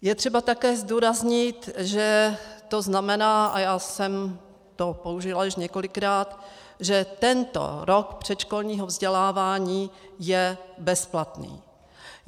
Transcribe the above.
Je třeba také zdůraznit, že to znamená, a já jsem to použila již několikrát, že tento rok předškolního vzdělávání je bezplatný.